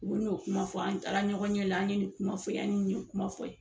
U bɛ n'o kuma fɔ an taara ɲɔgɔn ɲɛ la an ye ni kuma fɔ ye an ye ni kuma fɔ ye.